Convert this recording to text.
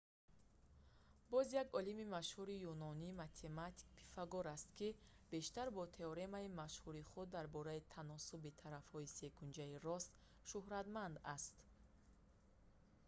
боз як олими машҳури юнонӣ математик пифагор аст ки бештар бо теоремаи машҳури худ дар бораи таносуби тарафҳои секунҷаи рост шуҳратманд аст